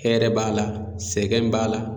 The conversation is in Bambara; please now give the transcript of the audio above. Hɛrɛ b'a la, sɛgɛn b'a la